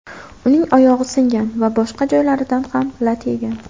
Uning oyog‘i singan va boshqa joylaridan ham lat yegan.